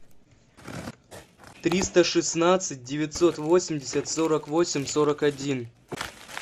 триста шестнадцать девятьсот восемьдесят сорок восемь сорок один